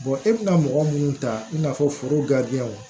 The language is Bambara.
e bɛna mɔgɔ minnu ta i n'a fɔ foro